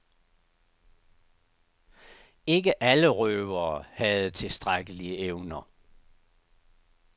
Ikke alle røvere havde tilstrækkelige evner.